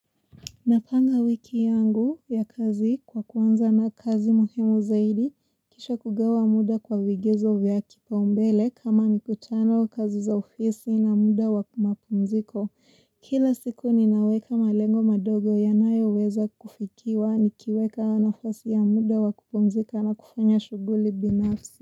Napanga wiki yangu ya kazi kwa kuanza na kazi muhimu zaidi, kisha kugawa muda kwa vigezo vya kipa umbele kama mikutano kazi za ofisi na muda wa mapumziko. Kila siku ninaweka malengo madogo yanayoweza kufikiwa nikiweka nafasi ya muda wakupumzika na kufanya shughuli binafsi.